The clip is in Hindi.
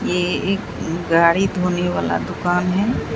ये एक गाड़ी धोने वाला दुकान है।